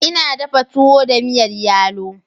Ina dafa tuwo da miyar yalo.